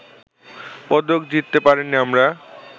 পদক জিততে পারিনি আমরা